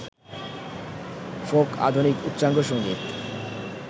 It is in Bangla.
ফোক, আধুনিক, উচ্চাঙ্গসংগীত,